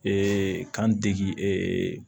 kan degi